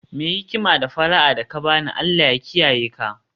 Mai hikima, d fara'a da ka ba ni, Allah ya kiyaye ka